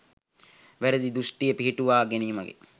නිවැරදි දෘශ්ඨිය පිහිටුවා ගැනීමයි.